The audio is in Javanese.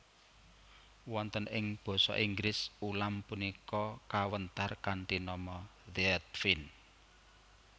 Wonten ing Basa Inggris ulam punika kawéntar kanthi nama Threadfin